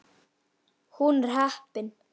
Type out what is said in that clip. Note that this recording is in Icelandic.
Hún er heppin.